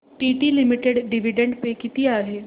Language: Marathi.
टीटी लिमिटेड डिविडंड पे किती आहे